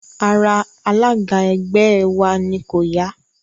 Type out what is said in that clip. Ara alága ẹgbẹ́ ẹ wa ni kò ya